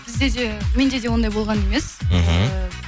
бізде де менде де ондай болған емес мхм